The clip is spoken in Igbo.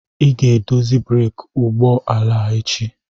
Ị ga-edozi breeki ụgbọ ala a echi.